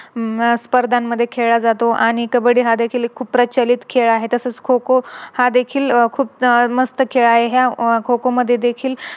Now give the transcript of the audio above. हम्म स्पर्धांमध्ये खेळाला जातो आणि कब्बडी हा देखील खूप प्रचलित खेळ आहे. तसंच खो-खो हा देखील खुप मस्त खेळ आहे. ह्या खो-खो मध्ये देखील